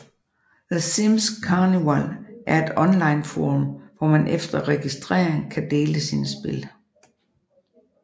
The Sims Carnival er et onlineforum hvor man efter registrering kan dele sine spil